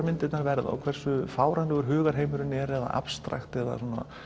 myndirnar verða og hversu fáránlegur hugarheimurinn er eða abstrakt eða